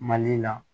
Mali la